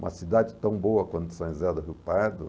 Uma cidade tão boa quanto São José do Rio Pardo.